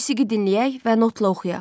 Musiqi dinləyək və notla oxuyaq.